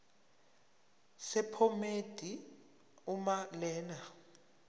sephomedi uma lena